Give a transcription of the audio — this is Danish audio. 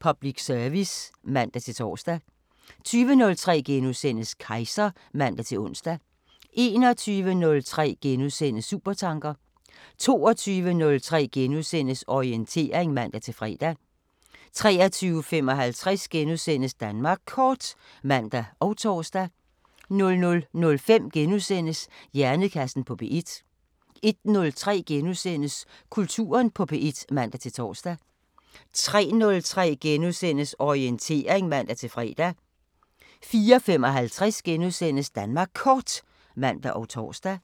Public service *(man-tor) 20:03: Kejser *(man-ons) 21:03: Supertanker 22:03: Orientering *(man-fre) 23:55: Danmark Kort *(man og tor) 00:05: Hjernekassen på P1 * 01:03: Kulturen på P1 *(man-tor) 03:03: Orientering *(man-fre) 04:55: Danmark Kort *(man og tor)